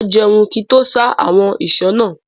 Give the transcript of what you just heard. Mà á jẹun kí n tó ṣá àwọn ìṣó náà.